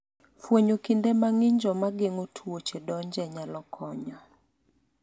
fwenyo kinde ma ng'injo ma geng'o tuoche donje nyalo konyo